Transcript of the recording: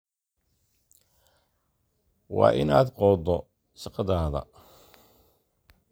Waa in aad qoddo shaqadaada."